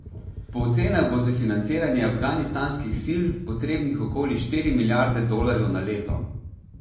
Po ocenah bo za financiranje afganistanskih sil potrebnih okoli štiri milijarde dolarjev na leto.